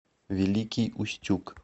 великий устюг